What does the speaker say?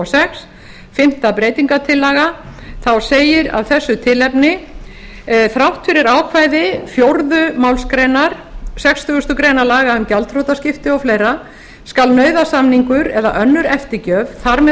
sex fimmta breytingartillaga þá segir af þessu tilefni þrátt fyrir ákvæði fjórðu málsgrein sextugustu grein laga um gjaldþrotaskipti og fleira skal nauðasamningur eða önnur eftirgjöf þar með